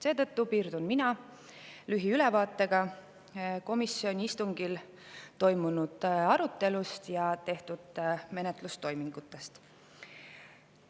Seetõttu piirdun mina lühiülevaatega komisjoni istungil toimunud arutelust ja tehtud menetlustoimingutest.